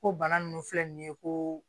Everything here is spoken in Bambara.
Ko bana ninnu filɛ nin ye ko